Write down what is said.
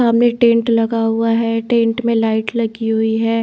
सामने टेंट लगा हुआ है टेंट में लाइट लगी हुई है।